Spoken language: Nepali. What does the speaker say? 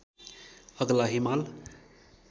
अग्ला हिमाल